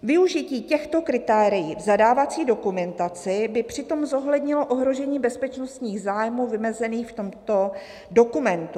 "Využití těchto kritérií v zadávací dokumentaci by přitom zohlednilo ohrožení bezpečnostních zájmů vymezených v tomto dokumentu.